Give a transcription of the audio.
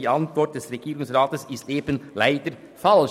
Die Antwort des Regierungsrats ist eben leider falsch.